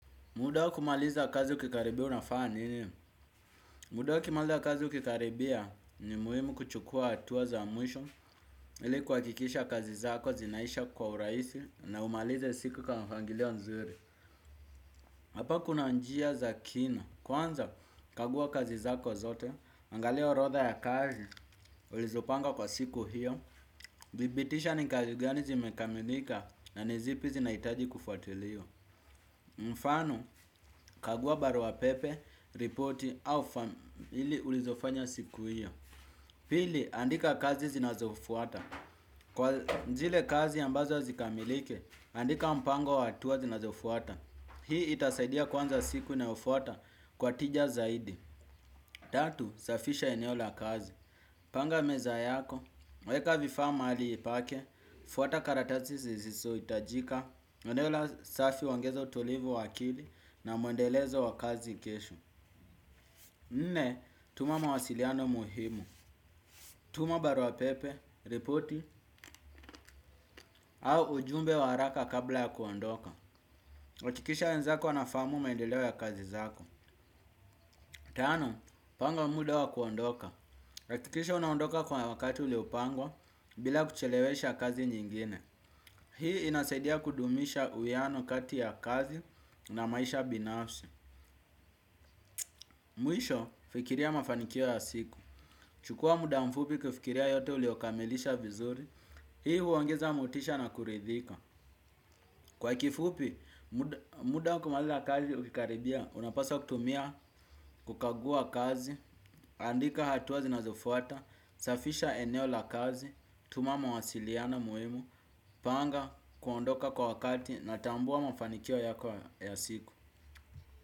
Muda wa kumaliza kazi ukikaribia unafana nini? Muda wa kumaliza kazi ukikaribia ni muhimu kuchukua hatua za mwisho ili kuwakikisha kazi zako zinaisha kwa uraisi na umalize siku kwa mpangilio nzuri. Hapa kuna njia za kina. Kwanza kagua kazi zako zote, angalia orodha ya kazi, ulizopanga kwa siku hiyo, thibitisha ni kazi gani zimekamilika na ni zipi zina itaji kufuatiliwa. Mfano, kagua baruapepe, ripoti au ili ulizofanya siku ya pili, andika kazi zinazofuata. Kwa zile kazi ambazo zikamilike, andika mpango wa hatua zinazofuata. Hii itasaidia kwanza siku inayofuata kwa tija zaidi. Tatu, safisha eneo la kazi. Panga meza yako, weka vifaa mahali pake. Fuata karatasi ziziso itajika eneo la safi uongeza utulivu wa akili na mwendelezo wa kazi kesho. Nne, tuma mawasiliano muhimu. Tuma baruapepe, ripoti au ujumbe wa haraka kabla ya kuondoka. Akikisha wenzako wanafahamu maendeleo ya kazi zako. Tano, panga muda wa kuondoka. Akikisha unaondoka kwa wakati uliupangwa bila kuchelewesha kazi nyingine. Hii inasaidia kudumisha uwiano kati ya kazi na maisha binafsi. Mwisho, fikiria mafanikio ya siku. Chukua muda mfupi kufikiria yote uliokamilisha vizuri. Hii huongeza motisha na kuridhika. Kwa kifupi, muda waku maliza kazi ukikaribia, unapaswa kutumia, kukagua kazi, andika hatua zinazofuata, safisha eneo la kazi, tuma mawasiliana muhimu, panga, kuondoka kwa wakati na tambua mafanikio ya siku.